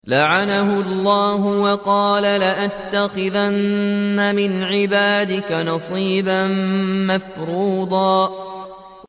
لَّعَنَهُ اللَّهُ ۘ وَقَالَ لَأَتَّخِذَنَّ مِنْ عِبَادِكَ نَصِيبًا مَّفْرُوضًا